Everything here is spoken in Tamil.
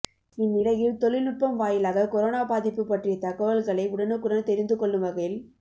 இந்நிலையில் தொழில்நுட்பம் வாயிலாக கொரோனா பாதிப்பு பற்றிய தகவல்களை உடனுக்குடன் தெரிந்து கொள்ளும் வகையில்